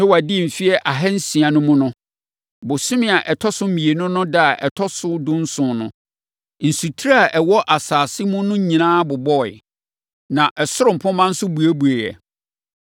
Noa dii mfeɛ ahansia no mu no, bosome a ɛtɔ so mmienu no ɛda a ɛtɔ so dunson no, nsutire a ɛwɔ asase mu no nyinaa bobɔeɛ, na ɛsoro mpomma nso buebueeɛ.